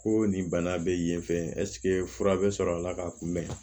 Ko nin bana bɛ yen fɛ ɛseke fura bɛ sɔrɔ a la ka kunbɛn